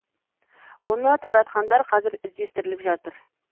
оны таратқандар қазір іздестіріліп жатыр